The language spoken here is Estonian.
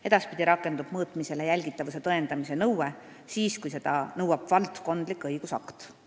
Edaspidi rakendub mõõtmisel jälgitavuse tõendamise nõue siis, kui seda nõuab valdkondlik õigusakt.